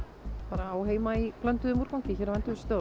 á heima í blönduðum úrgangi hérna